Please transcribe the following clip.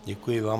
Děkuji vám.